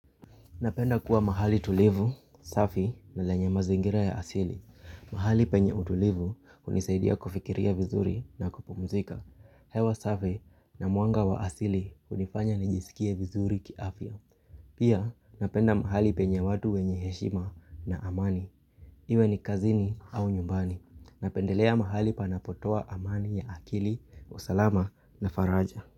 Napenda kuwa mahali tulivu, safi na lenye mazingira ya asili. Mahali penye utulivu hunisaidia kufikiria vizuri na kupumzika. Hewa safi na mwanga wa asili hunifanya nijisikie vizuri kiafya. Pia napenda mahali penye watu wenye heshima na amani. Iwe ni kazini au nyumbani. Napendelea mahali panapotoa amani ya akili, usalama na faraja.